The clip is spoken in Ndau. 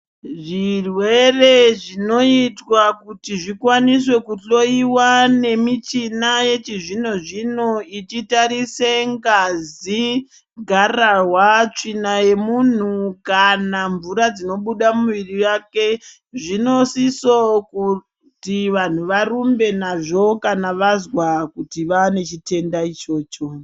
Zvirwere zvinoitwa kuti zvikwanise kuhloyiwa nemichina yechizvino zvino ichitarise ngazi garahwa tsvina yemunhu kana mvura dzinobuda muviri vake zvinosiso kuti vanthu varumbe nazvo kana vazwa kuti vaane chitenda ichocho.